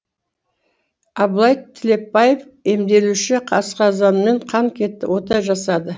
абылай тілепбаев емделуші асқазаныммен қан кетті ота жасады